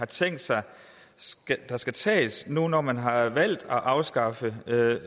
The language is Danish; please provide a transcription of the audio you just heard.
tænkt sig der skal tages nu når man har valgt at afskaffe